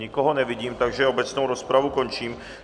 Nikoho nevidím, takže obecnou rozpravu končím.